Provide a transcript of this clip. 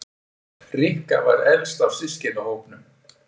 Rikka var elst af systkinahópnum.